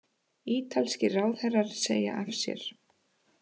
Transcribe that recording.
Ítalskir ráðherrar segja af sér